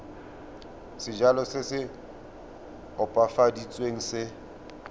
sejalo se se opafaditsweng se